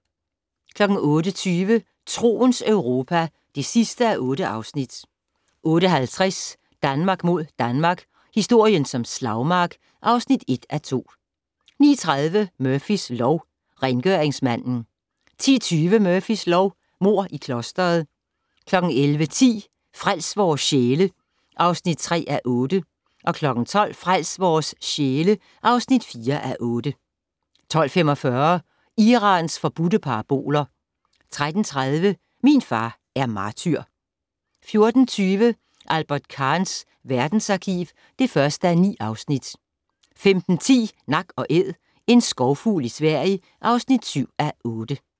08:20: Troens Europa (8:8) 08:50: Danmark mod Danmark - historien som slagmark (1:2) 09:30: Murphys lov: Rengøringsmanden 10:20: Murphys lov: Mord i klostret 11:10: Frels vores sjæle (3:8) 12:00: Frels vores sjæle (4:8) 12:45: Irans forbudte paraboler 13:30: Min far er martyr 14:20: Albert Kahns verdensarkiv (1:9) 15:10: Nak & Æd - en skovfugl i Sverige (7:8)